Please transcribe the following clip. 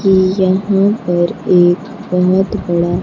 यहां पर एक बहुत बड़ा--